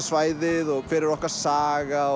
svæðið og hver okkar saga